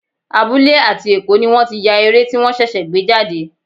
Abúlé àti Èkó ni wọ́n ti ya eré tí wọ́n ṣẹ̀ṣẹ̀ gbé jáde.